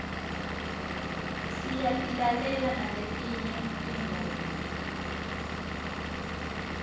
siyatilalela naletinye tingoma